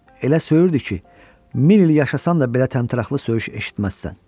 Elə söyürdü ki, min il yaşasan da belə təmtəraqlı söyüş eşitməzsən.